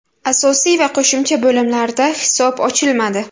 Asosiy va qo‘shimcha bo‘limlarda hisob ochilmadi.